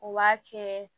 U b'a kɛ